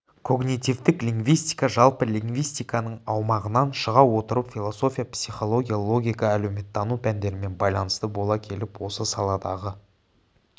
когнитивтік лингвистика жалпы лингвистиканың аумағынан шыға отырып философия психология логика әлеуметтану пәндерімен байланысты бола келіп осы саладағы